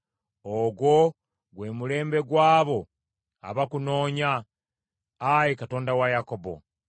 Ogwo gwe mulembe gw’abo abakunoonya, Ayi Katonda wa Yakobo.